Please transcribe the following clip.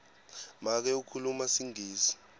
make ukhuluma singisi